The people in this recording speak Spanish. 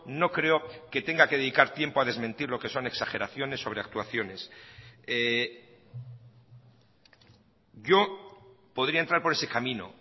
no creo que tenga que dedicar tiempo a desmentir lo que son exageraciones sobre actuaciones yo podría entrar por ese camino